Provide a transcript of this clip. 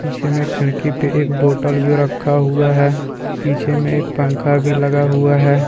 पीछे मे खिड़की पे एक बोतल भी रक्खा हुआ है पीछे में एक पंखा भी लगा हुआ है।